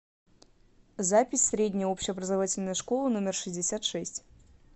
запись средняя общеобразовательная школа номер шестьдесят шесть